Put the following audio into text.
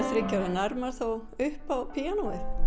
þriggja ára nær maður þá upp á píanóið